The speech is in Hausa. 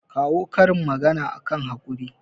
kawo karin magana akan haƙuri